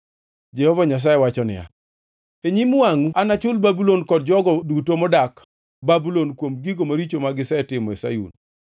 Jehova Nyasaye wacho niya, “E nyim wangʼu anachul Babulon kod jogo duto modak Babulon kuom gigo maricho magisetimo e Sayun.”